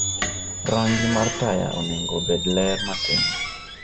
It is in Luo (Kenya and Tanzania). Rangi mar taya onego obed ler matin